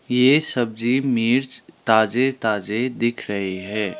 ये सब्जी मिर्च ताजे ताजे दिख रहे हैं।